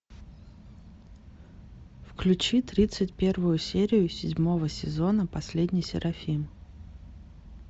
включи тридцать первую серию седьмого сезона последний серафим